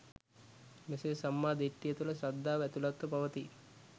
මෙසේ සම්මා දිට්ඨිය තුළ ශ්‍රද්ධාව ඇතුළත්ව පවතියි